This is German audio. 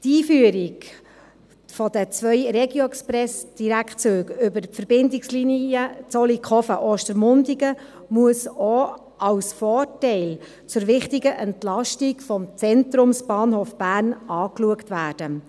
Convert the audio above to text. Die Einführung der zwei RegioExpress-Direktzüge über die Verbindungslinie Zollikofen-Ostermundigen muss auch als Vorteil zur wichtigen Entlastung des Zentrumsbahnhofs Bern angesehen werden.